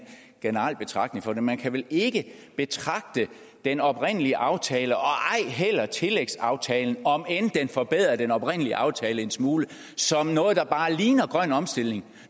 generel betragtning på det for man kan vel ikke betragte den oprindelige aftale og ej heller tillægsaftalen om end den forbedrer den oprindelige aftale en smule som noget der bare ligner grøn omstilling